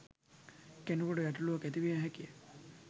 කෙනෙකුට ගැටලුවක් ඇතිවිය හැකිය